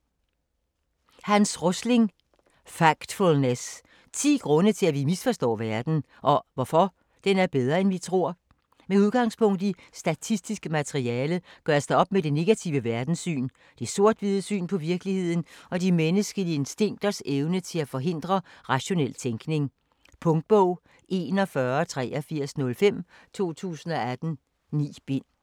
Rosling, Hans: Factfulness: 10 grunde til at vi misforstår verden - og hvorfor den er bedre end vi tror Med udgangspunkt i statistisk materiale gøres der op med det negative verdenssyn, det sort/hvide syn på virkeligheden og de menneskelige instinkters evne til at forhindre rationel tænkning. Punktbog 418305 2018. 9 bind.